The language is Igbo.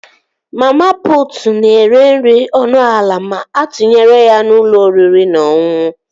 Mama putu na-ere nri ọnụ ala ma atụnyere ya na ụlọ oriri na ọṅụṅụ